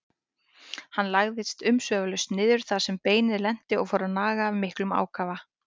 Hann lagðist umsvifalaust niður þar sem beinið lenti og fór að naga af miklum ákafa.